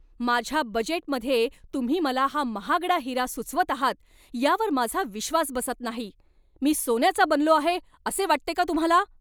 माझ्या बजेटमध्ये तुम्ही मला हा महागडा हिरा सुचवत आहात यावर माझा विश्वास बसत नाही! मी सोन्याचा बनलो आहे असे वाटते का तुम्हाला?